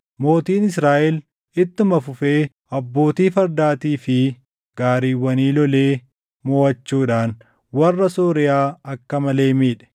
Mootiin Israaʼel ittuma fufee abbootii fardaatii fi gaariiwwanii lolee moʼachuudhaan warra Sooriyaa akka malee miidhe.